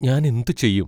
ഞാനെന്തു ചെയ്യും?